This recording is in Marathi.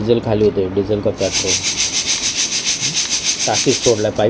डिझेल खाली होतय डिझेल का पेट्रोल टाकीत सोडलंय पाईप --